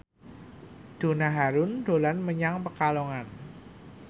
Donna Harun dolan menyang Pekalongan